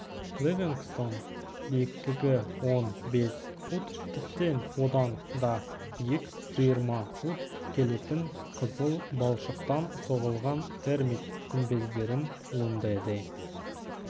ливингстон биіктігі он бес фут тіптен одан да биік жиырма фут келетін қызыл балшықтан соғылған термит күмбездерін лундэде